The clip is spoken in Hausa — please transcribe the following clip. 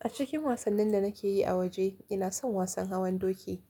A cikin wasannin da nake yi a waje, ina son wasan hawan doki.